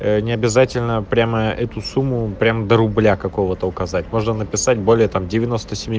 ээ необязательно прямо эту сумму прям до рубля какого-то указать можно написать более там девяносто семи